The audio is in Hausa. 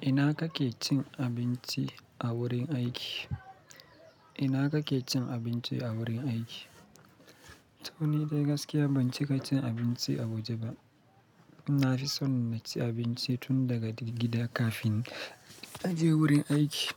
Ina kake cin abinci a wurin aiki? Ina kake cin abinci a wurin aiki? To, ni dai gaskiya ban cika cin abinci a waje ba. Na fi son na ci abinci tun daga dir gida kafin na je wurin aiki.